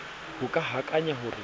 ho ka akanya ho re